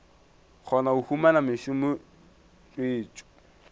kgona go humana mešomo tswetšo